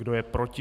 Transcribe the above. Kdo je proti?